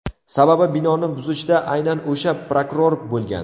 Sababi binoni buzishda aynan o‘sha prokuror bo‘lgan.